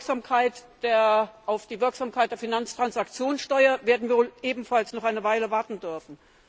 Auf die Wirksamkeit der Finanztransaktionssteuer werden wir wohl ebenfalls noch eine Weile warten dürfen.